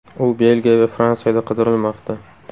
U Belgiya va Fransiyada qidirilmoqda.